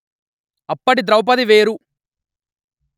అప్పటి ద్రౌపది వేరు